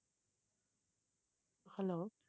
hello